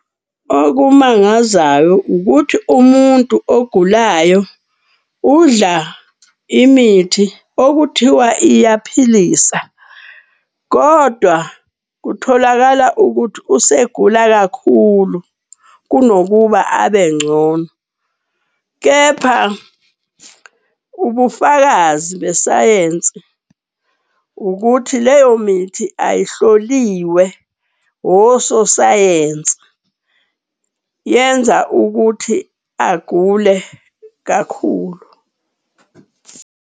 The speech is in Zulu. Okumangazayo ukuthi umuntu ogulayo udla imithi okuthiwa iyaphilisa kodwa kutholakala ukuthi usegula kakhulu kunokuba abengcono. Kepha ubufakazi besayensi ukuthi leyo mithi ayihloliwe ososayensi, yenza ukuthi agule kakhulu.